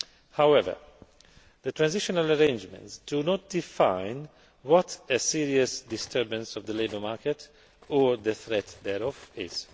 However, the transitional arrangements do not define what a serious disturbance of the labour market, or the threat thereof, is.